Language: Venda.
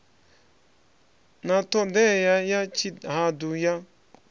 na ṱhodea ya tshihaḓu ya